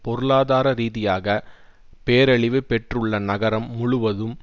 பொருளாதார ரீதியாக பேரழிவு பெற்றுள்ள நகரம் முழுதும்